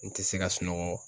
N tɛ se ka sunɔgɔ.